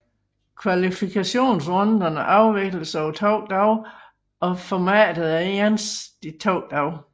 Kvalifikationsrunderne afvikles over to dage og formatet er ens de to dage